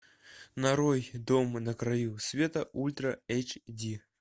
нарой дом на краю света ультра эйч ди